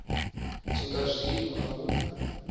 swika zwino a hu na